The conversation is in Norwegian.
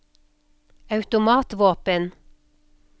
automatvåpen